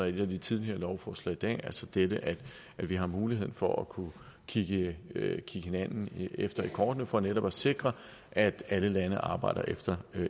et af de tidligere lovforslag i dag altså dette at vi har muligheden for at kunne kigge hinanden efter i kortene for netop at sikre at alle lande arbejder efter